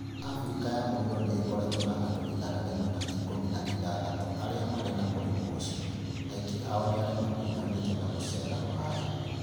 Abirika ya mũburo nĩ ĩkoretwo na andũ igana rĩmwe an ĩkumi an ĩthatũ arĩa marĩ na mũrimũ ũcio, aingĩ ao nĩ arĩa maakũrũbanitio na gucera Rũraya.